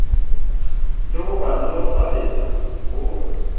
le ho ba nolofaletsa ho